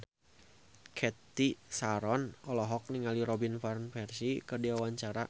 Cathy Sharon olohok ningali Robin Van Persie keur diwawancara